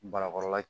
Barakɔrɔla